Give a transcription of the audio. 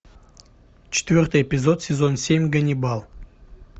четвертый эпизод сезон семь ганнибал